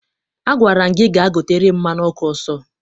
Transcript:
Agwara m gị gaa gotere m mmanụ ọkụ ọsọ!